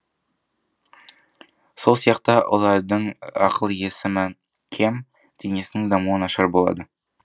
сол сияқты олардың ақыл есімі кем денесінің дамуы нашар болады